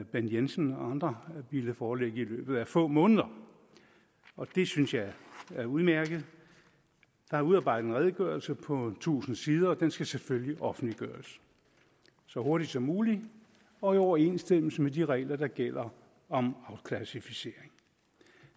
bent jensen og andre ville foreligge i løbet af få måneder det synes jeg er udmærket der er udarbejdet en redegørelse på tusind sider og den skal selvfølgelig offentliggøres så hurtigt som muligt og i overensstemmelse med de regler der gælder om afklassificering